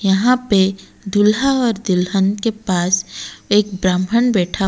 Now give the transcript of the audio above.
यहां पे दूल्हा और दुल्हन के पास एक ब्राह्मण बैठा--